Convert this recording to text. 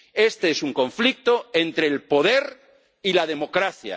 Este es un conflicto entre el poder y la democracia.